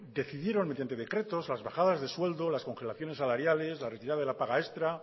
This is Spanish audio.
decidieron mediante decretos las bajadas de sueldos las congelaciones salariales la retirada de la paga extra